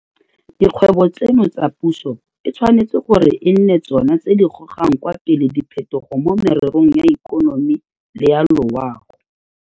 Dikgwebo tseno tsa puso e tshwanetse gore e nne tsona tse di gogang kwa pele diphetogo mo mererong ya ikonomi le ya loago.